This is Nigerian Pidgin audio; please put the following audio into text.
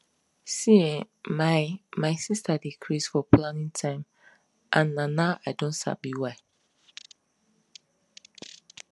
see[um]my my sister dey craze for planning time and na now i don sabi why